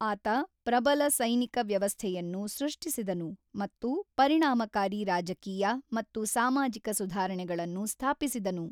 ಆತ ಪ್ರಬಲ ಸೈನಿಕ ವ್ಯವಸ್ಥೆಯನ್ನು ಸೃಷ್ಟಿಸಿದನು ಮತ್ತು ಪರಿಣಾಮಕಾರಿ ರಾಜಕೀಯ ಮತ್ತು ಸಾಮಾಜಿಕ ಸುಧಾರಣೆಗಳನ್ನು ಸ್ಥಾಪಿಸಿದನು.